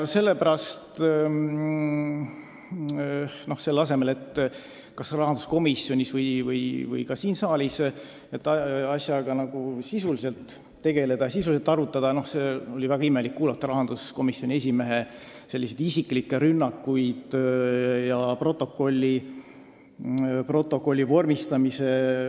Ja selle asemel, et kas rahanduskomisjonis või ka siin saalis asja sisuliselt arutada, peame kuulma rahanduskomisjoni esimehe isiklikke rünnakuid ja ülevaadet arutelust protokolli vormistamise kohta.